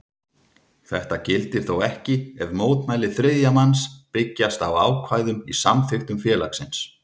Þetta gildir þó ekki ef mótmæli þriðja manns byggjast á ákvæðum í samþykktum félagsins.